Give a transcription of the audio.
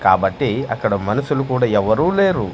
కాబట్టి అక్కడ మనుసులు కూడా ఎవ్వరూ లేరు.